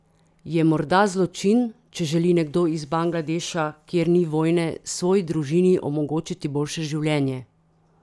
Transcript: Je morda zločin, če želi nekdo iz Bangladeša, kjer ni vojne, svoji družini omogočiti boljše življenje?